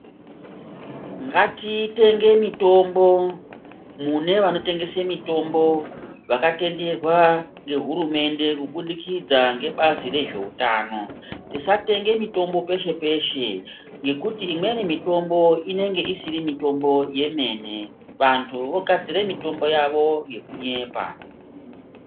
Ngatitenge mitombo mune vanotengese mitombo vakatenderwa ngehurumende kubudikidza ngebazi rezveutano. Tisatenge mitombo peshe-peshe ngekuti imweni mitombo inenge isiri mitombo yemene. Vantu vogadzire mitombo yavo yekunyepa.